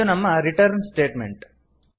ಇದು ನಮ್ಮ return statement